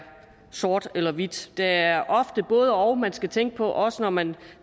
sort eller hvidt det er ofte både og man skal tænke på også når man